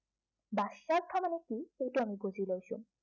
বাচ্য়াৰ্থ মানে কি সেইটো আমি বুজি লৈছো।